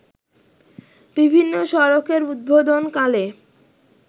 বিভিন্ন সড়কের উদ্বোধন কালে